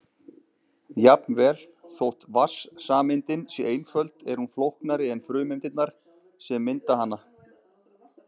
Jafnvel þótt vatnssameindin sé einföld er hún flóknari en frumeindirnar sem mynda hana.